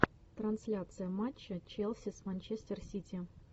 трансляция матча челси с манчестер сити